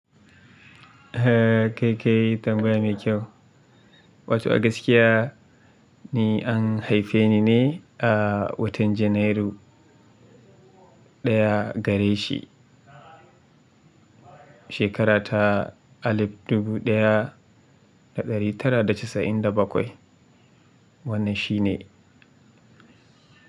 Eh kai kai tambaya mai kyau. Wato a gaskiya ni an haife ni ne a watan Janairu 1 gare shi, shekara ta alif dubu ɗaya da ɗari tara da casa'in da bakwai. Wannan shi ne.